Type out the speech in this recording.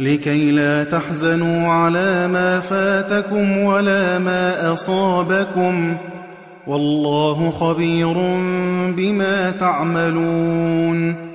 لِّكَيْلَا تَحْزَنُوا عَلَىٰ مَا فَاتَكُمْ وَلَا مَا أَصَابَكُمْ ۗ وَاللَّهُ خَبِيرٌ بِمَا تَعْمَلُونَ